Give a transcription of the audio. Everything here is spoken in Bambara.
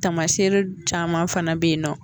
Tamasere caman fana be yen nɔ